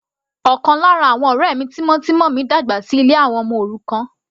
Ọ̀kan lára àwọn ọ̀rẹ́ mi tímọ́tímọ́ mi dàgbà sí ilé àwọn ọmọ òrukàn.